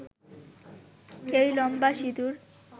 কেউ লম্বা সিঁদুর